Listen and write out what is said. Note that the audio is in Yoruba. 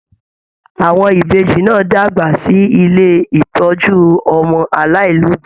Àwọn Ìbejì náà dàgbà sí ilé ìtọjú ọmọ alailobi.